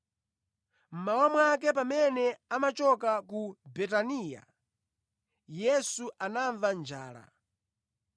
Mmawa mwake pamene amachoka ku Betaniya, Yesu anamva njala.